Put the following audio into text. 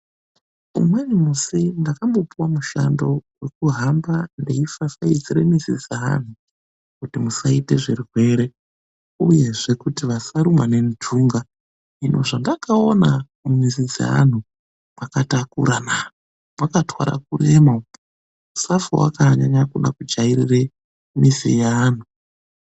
Umweni musi ndakambopuwa mushando wekuhamba ndeifafaidzira mizi dzeanhu kuti musaite zvirwere, uyezve kuti vasarumwa nentunga. Hino zvendakaona mumizi dzeanhu, mwakatakura na! Mwakatwara kurema umo, usafa wakaanyanya kuda kujairire mizi yeanhu.